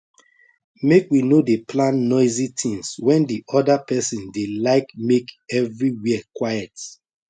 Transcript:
make we no dey plan noisy things when the other person dey like make everywhere quiet